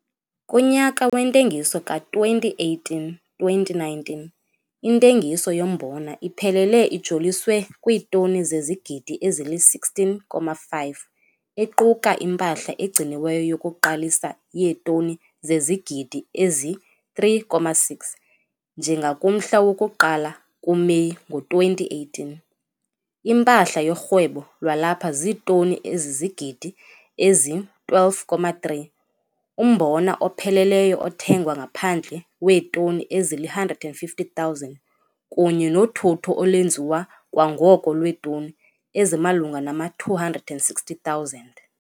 Kunyaka wentengiso ka-2018 - 2019 intengiso yombona iphelele ijoliswe kwiitoni zezigidi ezili-16,5, equka impahla egciniweyo yokuqalisa yeetoni zezigidi ezi-3,6, njengakumhla woku-1 kuMeyi ngo-2018, impahla yorhwebo lwalapha ziitoni ezizigidi ezi-12,3, umbona opheleleyo othengwa ngaphandle weetoni ezili-150 000 kunye nothutho olwenziwa kwangoko lweetoni ezimalunga nama-260 000.